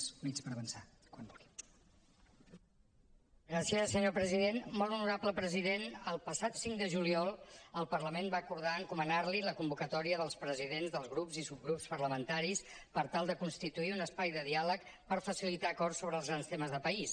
molt honorable president el passat cinc de juliol el parlament va acordar encomanar li la convocatòria dels presidents dels grups i subgrups parlamentaris per tal de constituir un espai de diàleg per facilitar acords sobre els grans temes de país